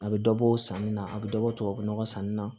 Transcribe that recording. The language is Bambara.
A bɛ dɔbɔ sanni na a bɛ dɔ bɔ tubabu nɔgɔ sanni na